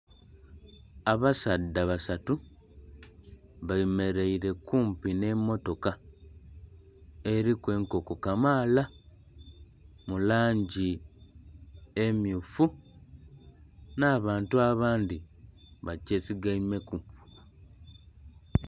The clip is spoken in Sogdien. Abasaadha basatu bemeraire kumpi n'emotoka eriku enkoko kamaala mu langi emmyufu n'abantu abandhi bagyesigaime ku.